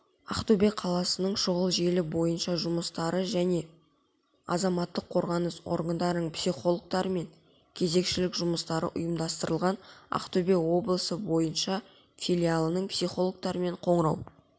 ақтөбе қаласының шұғыл желі бойынша жұмыстары және азаматтық қорғаныс органдарының психологтарымен кезекшілік жұмыстары ұйымдастырылған ақтөбе облысы бойынша филиалының психологтарымен қоңырау